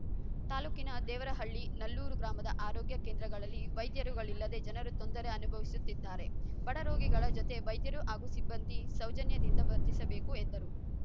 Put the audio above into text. ತಾಲೂಕಿನ ದೇವರಹಳ್ಳಿ ನಲ್ಲೂರು ಗ್ರಾಮದ ಆರೋಗ್ಯ ಕೇಂದ್ರಗಳಲ್ಲಿ ವೈದ್ಯರುಗಳಿಲ್ಲದೆ ಜನರು ತೊಂದರೆ ಅನುಭವಿಸುತ್ತಿದ್ದಾರೆ ಬಡ ರೋಗಿಗಳ ಜೊತೆ ವೈದ್ಯರು ಹಾಗೂ ಸಿಬ್ಬಂದಿ ಸೌಜನ್ಯದಿಂದ ವರ್ತಿಸಬೇಕು ಎಂದರು